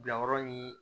Bilayɔrɔ ni